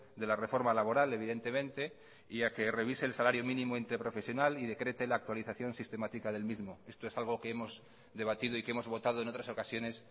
de la reforma laboral evidentemente y a que revise el salario mínimo interprofesional y decrete la actualización sistemática del mismo esto es algo que hemos debatido y que hemos votado en otras ocasiones